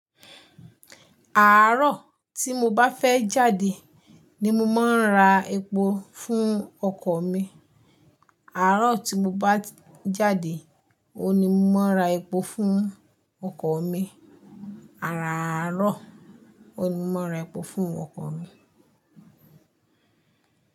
Àárọ̀ tí mo bá fẹ́ jáde ni mo máa ń ra epo fún ọkọ̀ mi. Àárọ̀ tí mo bá jáde, òun ní mo máa ra epo fún ọkọ̀ mi. Àáràárọ̀, òun ní mo máa n ra epo fún ọkọ̀ mi.